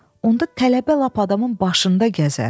Onda tələbə lap adamın başında gəzər.